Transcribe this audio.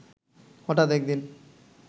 হঠাৎ একদিন